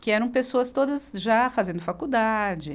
que eram pessoas todas já fazendo faculdade.